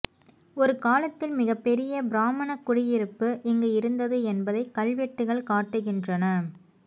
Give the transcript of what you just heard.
ஒரு காலத்தில் மிகப்பெரிய பிராமணக் குடியிருப்பு இங்கு இருந்தது என்பதை கல்வெட்டுகள் காட்டுகின்றன